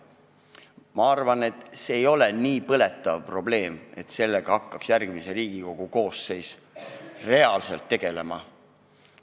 Ma arvan, et see ei ole nii põletav probleem, et järgmine Riigikogu koosseis hakkaks sellega reaalselt tegelema.